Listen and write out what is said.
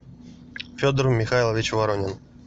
федор михайлович воронин